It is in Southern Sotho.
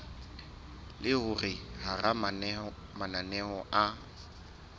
le hore hara mananeo a